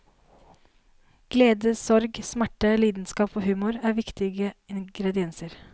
Glede, sorg, smerte, lidenskap og humor er viktige ingredienser.